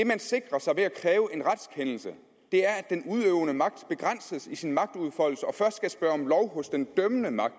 man sikrer sig ved at kræve en retskendelse er at den udøvende magt begrænses i sin magtudfoldelse og først skal spørge om lov hos den dømmende magt